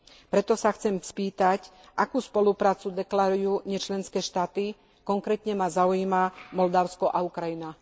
Preto sa chcem spýtať, akú spoluprácu deklarujú nečlenské štáty, konkrétne ma zaujíma Moldavsko a Ukrajina.